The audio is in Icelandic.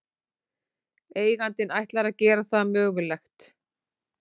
Eigandinn ætlar að gera það mögulegt